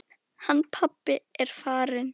Hann pabbi er farinn.